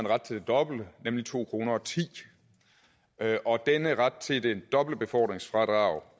ret til det dobbelte nemlig to kroner denne ret til det dobbelte befordringsfradrag